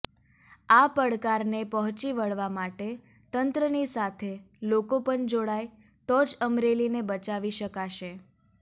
આ પડકારને પહોંચી વળવા માટે તંત્રની સાથે લોકો પણ જોડાય તો જ અમરેલીને બચાવી શકાશે